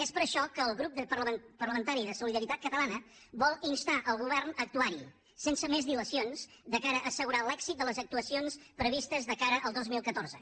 és per això que el grup parlamentari de solidaritat catalana vol instar el govern a actuar hi sense més dilacions de cara a assegurar l’èxit de les actuacions previstes de cara al dos mil catorze